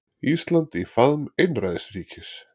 Ísland í faðm einræðisríkis